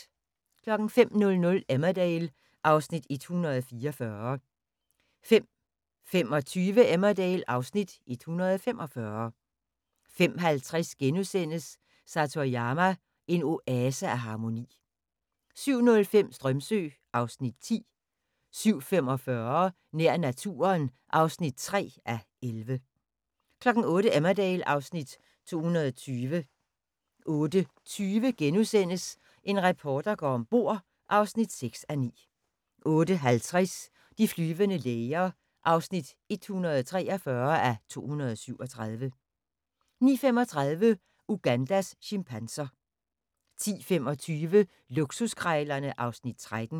05:00: Emmerdale (Afs. 144) 05:25: Emmerdale (Afs. 145) 05:50: Satoyama – en oase af harmoni * 07:05: Strömsö (Afs. 10) 07:45: Nær naturen (3:11) 08:00: Emmerdale (Afs. 220) 08:20: En reporter går om bord (6:9)* 08:50: De flyvende læger (143:237) 09:35: Ugandas chimpanser 10:25: Luksuskrejlerne (Afs. 13)